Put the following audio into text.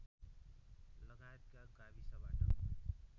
लगायतका गाविसबाट